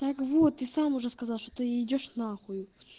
так вот ты сам уже сказал что ты идёшь на хуй